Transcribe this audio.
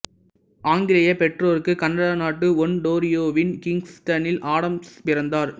ஆங்கிலேய பெற்றொருக்க்கு கனடா நாட்டு ஒன்டோரியொவின் கிங்ஸ்டனில் ஆடம்ஸ் பிறந்தார்